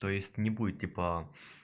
то есть не будет типа